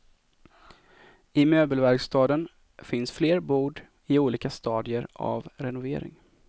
I möbelverkstaden finns fler bord, i olika stadier av renovering.